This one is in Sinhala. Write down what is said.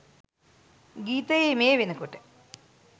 ගීතයේ මේ වෙනකොට